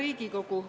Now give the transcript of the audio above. Hea Riigikogu!